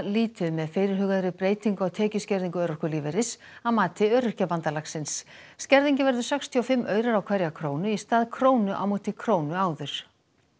lítið með fyrirhugaðri breytingu á tekjuskerðingu örorkulífeyris að mati Öryrkjabandalagsins skerðingin verður sextíu og fimm aurar á hverja krónu í stað krónu á móti krónu áður